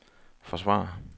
forsvarer